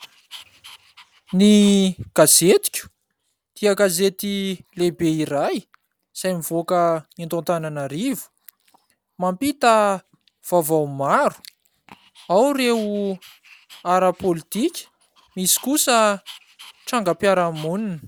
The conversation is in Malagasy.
Ny gazetiko dia gazety lehibe iray izay mivoaka eto Antananarivo, mampita vaovao maro, ao ireo ara-politika, misy kosa trangam-piarahamonina.